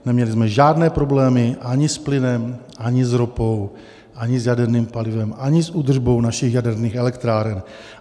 Neměli jsme žádné problémy ani s plynem, ani s ropou, ani s jaderným palivem, ani s údržbou našich jaderných elektráren.